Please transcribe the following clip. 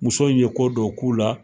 Muso in ye ko dɔ k'u la.